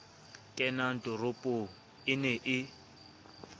kenang toropong e ne e